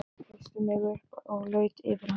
Reisti mig upp og laut yfir hana.